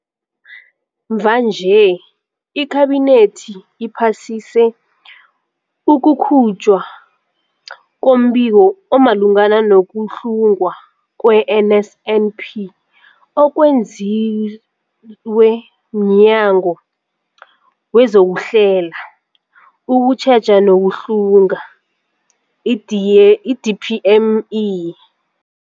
Mvanje, iKhabinethi iphasise ukukhutjhwa kombiko omalungana nokuhlungwa kwe-NSNP okwenziwe mNyango wezokuHlela, ukuTjheja nokuHlunga, i-D i-DPME.